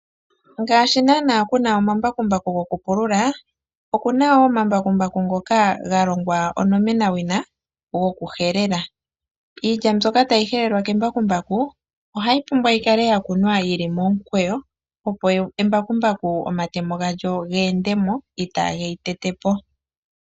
Ngaashi naanaa kuna omambakumbaku gokupilula okuna wo omambakumbaku ngoka galongwa onomenawina go kuhelela, iilya mbyoka tayi helelwa kembakumbaku ohayi pumbwa yikake yakunwa yili momukweyo opo embakumbaku omatemo galyo geendemo kaa geyi tetepo.